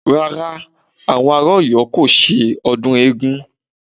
Rárá, àwọn ará Ọ̀yọ́ kò ṣe ọdún eégún